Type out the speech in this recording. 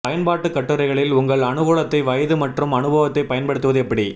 பயன்பாட்டு கட்டுரைகளில் உங்கள் அனுகூலத்தை வயது மற்றும் அனுபவத்தைப் பயன்படுத்துவது எப்படி